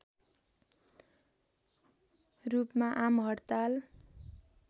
रूपमा आमहड्ताल